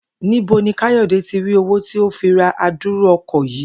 Níbo ni Kayode tí rí owó tí ó fi ra adúrú o̩kò̩ yìí